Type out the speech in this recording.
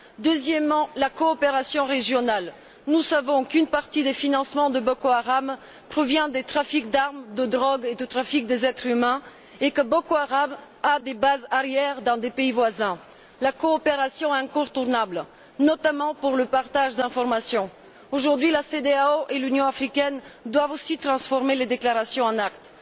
Puis, au niveau de la coopération régionale, nous savons qu'une partie des financements de Boko Haram provient des trafics d'armes, de drogue et du trafic des êtres humains et que Boko Haram a des bases arrières dans des pays voisins, la coopération est incontournable, notamment pour le partage d'informations. Aujourd'hui, la CEDEAO et l'Union africaine doivent aussi traduire les déclarations en actes.